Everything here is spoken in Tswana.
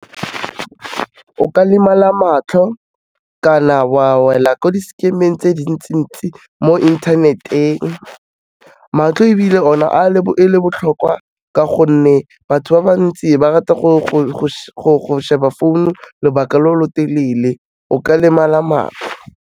O ka lemala matlho kana wa wela ko di-scam-eng tse dintsi-ntsi mo inthaneteng. Matlho ebile ona e le botlhokwa ka gonne batho ba ba ntsi ba rata go sheba phone lobaka lo lo telele o ka lemala matlho.